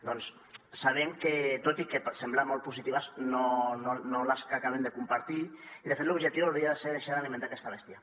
doncs saben que tot i semblar molt positives no les acabem de compartir i de fet l’objectiu hauria de ser deixar d’alimentar aquesta bèstia